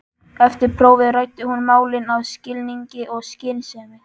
Eftir prófið ræddi hún málin af skilningi og skynsemi.